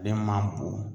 Ale man bo